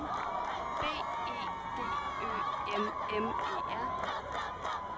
B E D Ø M M E R